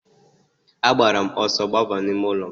A gbara m ọsọ gbaba n'ime ụlọ m.